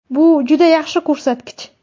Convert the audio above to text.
Bu juda yaxshi ko‘rsatkich.